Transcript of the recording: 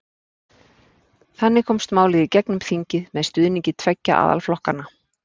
Þannig komst málið í gegn um þingið með stuðningi tveggja aðalflokkanna.